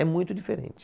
É muito diferente.